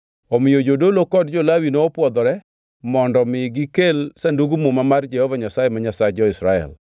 Omiyo jodolo kod jo-Lawi nopwodhore mondo mi gikel Sandug Muma mar Jehova Nyasaye ma Nyasach jo-Israel.